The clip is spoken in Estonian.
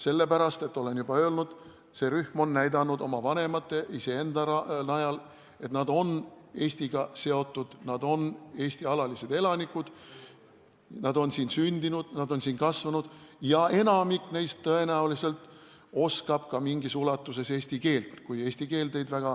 Sellepärast, et – olen juba öelnud – see rühm on näidanud oma vanemate, iseenda najal, et nad on Eestiga seotud, nad on Eesti alalised elanikud, nad on siin sündinud, nad on siin kasvanud ja enamik neist oskab tõenäoliselt ka mingis ulatuses eesti keelt.